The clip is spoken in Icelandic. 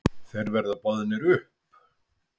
Þeir verða boðnir upp.